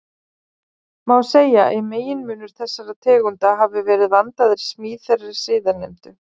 Má segja að meginmunur þessara tegunda hafi verið vandaðri smíð þeirra síðarnefndu.